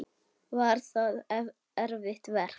Var það erfitt verk?